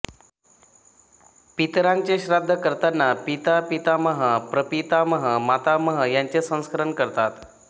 पितरांचे श्राद्ध करतांना पिता पितामह प्रपितामह मातामह यांचेही स्मरण करतात